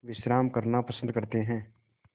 विश्राम करना पसंद करते हैं